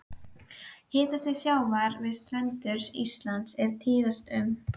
Hitastig sjávar við strendur Íslands er tíðast um